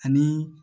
Ani